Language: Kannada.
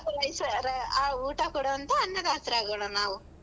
ಆ ಊಟ ಕೊಡುವಂತ ಅನ್ನದಾತ್ರಾಗೋಣ ನಾವು.